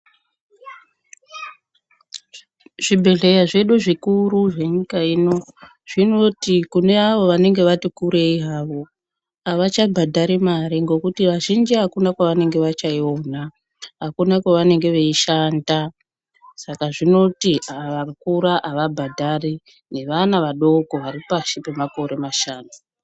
Zvibhehlera zvedu zvikuru zvenyika ino zvinoti kune vantu vanenge vati kurei havo avachabhadhari mare ngekuti vazhinji akuna kwevachaiona akuna kwavanenge veishanda saka zvinozi ava vakura avabhadhari nevana vadoko vari pashi pemakore mashanu.